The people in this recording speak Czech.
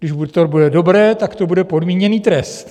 Když to bude dobré, tak to bude podmíněný trest.